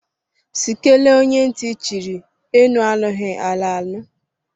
Sị kelee onye ntị chiri, enu anụghi, ala anụ.